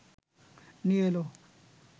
নিয়ে এল